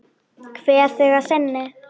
Kveð þig að sinni.